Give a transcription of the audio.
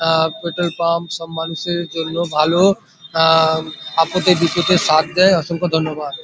আ petrol pump সব মানুষ এর জন্য ভালো-ও আ আপদে বিপদে সাথ দেয় অসংখ্য ধন্যবাদ।